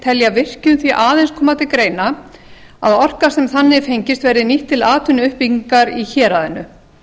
telja virkjun því aðeins koma til greina að orkan sem þannig fengist verði nýtt til atvinnuuppbyggingar í héraðinu